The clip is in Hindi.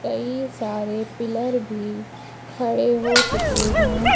कई सारे पिलर भी खड़े हो चुके हैं।